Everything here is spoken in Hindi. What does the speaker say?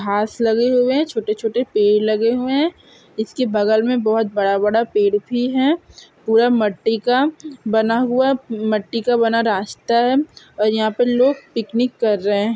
घास लगे हुए है छोटे- छोटे पेड़ लगे हुए है इसके बगल में बहुत बड़ा - बड़ा पेड़ भी है पूरा मट्टी का बना हुआ है मट्टी का बना रास्ता है और यहाँ पे लोग पिकनिक कर रहे है।